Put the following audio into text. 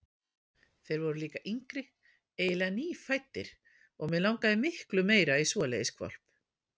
Þeir voru líka yngri, eiginlega nýfæddir, og mig langaði miklu meira í svoleiðis hvolp.